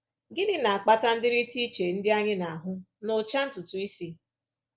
Gịnị na-akpata ndịrịta iche ndị anyị na-ahụ n’ụcha ntutu isi?